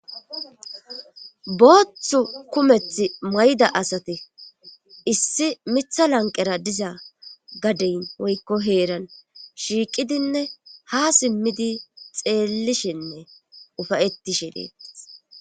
booththu kumethi mayda asati issi mitha lanqera diza gadeyn woykko heeran shiiqidinne ha simmidi xeellishinne ufayettishe dettes